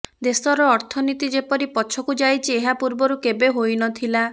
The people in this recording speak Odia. ଦେଶର ଅର୍ଥନୀତି ଯେପରି ପଛକୁ ଯାଇଛି ଏହା ପୂର୍ବରୁ କେବେ ହୋଇ ନଥିଲା